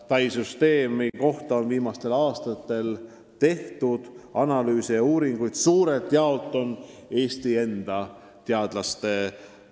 TAI süsteemi on viimastel aastatel analüüsinud suuremalt jaolt Eesti enda teadlased.